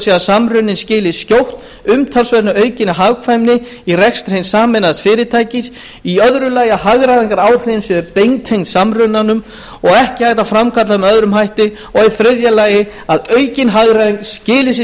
á að samruninn skili skjótt umtalsvert aukinni hagkvæmni í rekstri hins sameinaða fyrirtækis í öðru lagi að hagræðingaráhrifin séu beintengd samrunanum og ekki hægt að framkalla þau með öðrum hætti og í þriðja lagi að aukin hagræðing skili sér